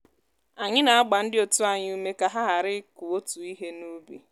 anyị na-agba ndị otu anyị ume ka ha ghara ịkụ otu ihe n’ubi